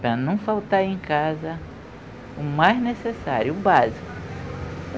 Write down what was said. Para não faltar em casa o mais necessário, o básico.